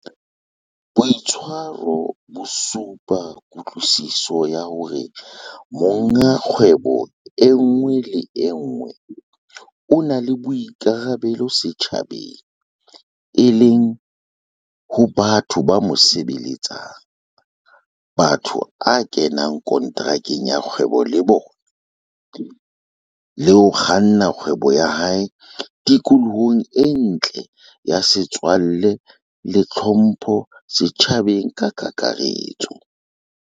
Boitshwaro bo supa kutlwisiso ya hore monga kgwebo e nngwe le e nngwe o na le boikarabelo setjhabeng, e leng ho, 1, batho ba mo sebeletsang, 2, bao a kenang konterakeng ya kgwebo le bona, le 3, ho kganna kgwebo ya hae tikolohong e ntle ya setswalle le tlhompho setjhabeng ka kakaretso.